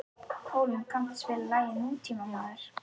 Hólm, kanntu að spila lagið „Nútímamaður“?